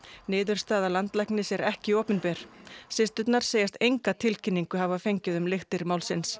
niðurstaða landlæknis er ekki opinber systurnar segjast enga tilkynningu hafa fengið um lyktir málsins